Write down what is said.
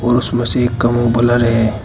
उसमें से एक का मुंह ब्लर है।